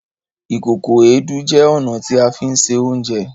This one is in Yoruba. Ìkòkò Èédú jẹ ọna ti a fí ṣe Oúnjẹ